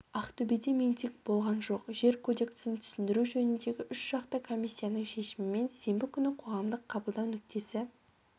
ақтөбеде митинг болған жоқ жер кодексін түсіндіру жөніндегі үшжақты комиссияның шешімімен сенбі күні қоғамдық қабылдау нүктесі